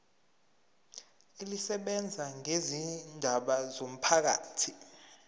elisebenza ngezindaba zomphakathi